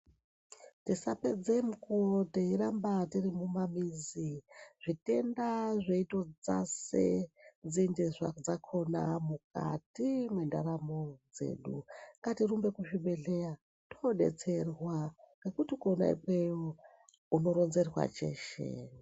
Tisapedze mukuwo teirambe tirimumamizi zvitenda zveitodzase nzinde dzakona mukati mwendaramo dzedu. Ngatirumbe kuzvibhedhleya toodetserwa. Ngekuti kona ikweyo unoronzerwa cheshe.